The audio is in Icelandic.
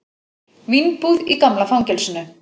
Vínbúð í gamla fangelsinu